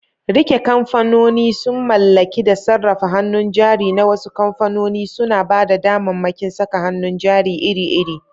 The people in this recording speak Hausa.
Rike kamfanoni sun mallaki da sarrafa hannun jari na wasu kamfanoni, suna ba da damammakin saka hannun jari iri-iri.